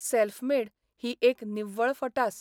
Self made ही एक निव्वळ फटास.